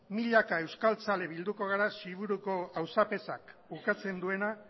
milaka euskaltzale bilduko gara xiburuko auzapezak ukatzen duena